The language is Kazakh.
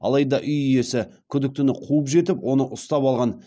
алайда үй иесі күдіктіні қуып жетіп оны ұстап алған